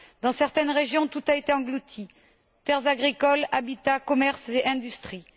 Dans certaines régions, tout a été englouti terres agricoles, habitats, commerces et industries.